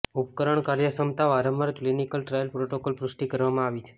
ઉપકરણ કાર્યક્ષમતા વારંવાર ક્લિનિકલ ટ્રાયલ પ્રોટોકોલ પુષ્ટિ કરવામાં આવી છે